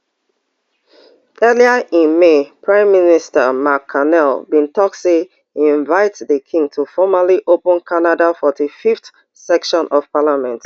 earlier in may prime minister mark carney bin tok say e invite di king to formally open canada forty-fiveth session of parliament